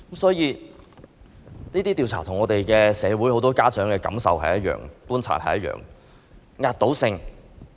這些調查的結果與社會很多家長的感受和觀察是一致。